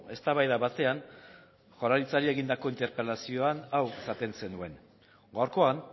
eztabaida batean jaurlaritzari egindako interpelazioan hau esaten zenuen gaurkoan